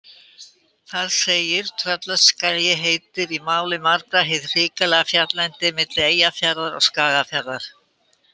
Þar segir: Tröllaskagi heitir í máli margra hið hrikalega fjalllendi milli Eyjafjarðar og Skagafjarðar.